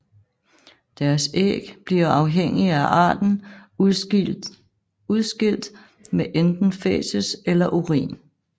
Deres æg bliver afhængig af arten udskilt med enten fæces eller urin